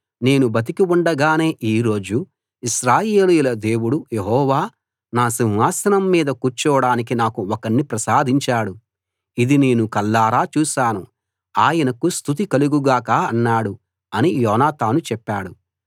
నేను బతికి ఉండగానే ఈ రోజు ఇశ్రాయేలీయుల దేవుడు యెహోవా నా సింహాసనం మీద కూర్చోడానికి నాకు ఒకణ్ణి ప్రసాదించాడు ఇది నేను కళ్లారా చూశాను ఆయనకు స్తుతి కలుగు గాక అన్నాడు అని యోనాతాను చెప్పాడు